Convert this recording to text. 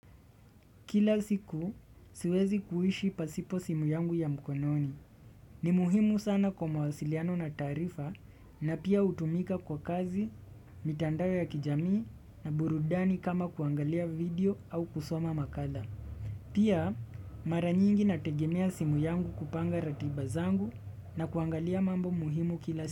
Kila siku siwezi kuishi pasipo simu yangu ya mkononi. Ni muhimu sana kwa mawasiliano na taarifa na pia hutumika kwa kazi, mitandao ya kijamii na burudani kama kuangalia video au kusoma makala. Pia mara nyingi nategemea simu yangu kupanga ratiba zangu na kuangalia mambo muhimu kila siku.